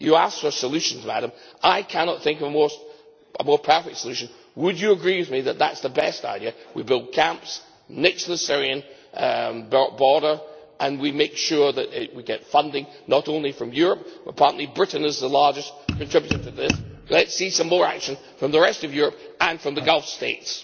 You asked for solutions, Madam, and I cannot think of a more perfect solution. Would you agree with me that that is the best idea? We build camps next to the Syrian border and we make sure that we get funding not only from Europe apparently Britain is the largest contributor to this. Let us see some more action from the rest of Europe and from the Gulf States.